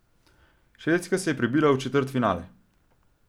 Švedska se je prebila v četrtfinale.